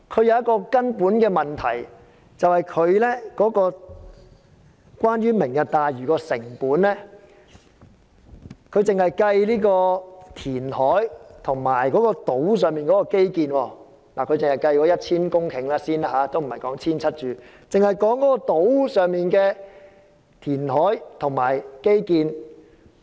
有一個根本的問題是，關於"明日大嶼"的成本，他只計算填海和島上基建，並只計算 1,000 公頃而非 1,700 公頃的填海和基建成本。